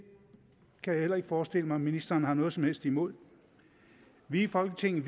kan jeg heller ikke forestille mig at ministeren har noget som helst imod vi i folketinget